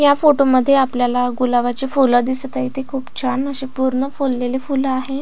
या फोटो मध्ये आपल्याला गुलाबाची फुलं दिसत आहे ती खूप छान अशी पूर्ण फुललेली फुलं आहेत.